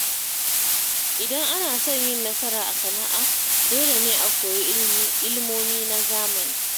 Idan ana son yin nasara a sana’a, dole ne a koyi ilimomi na zamani.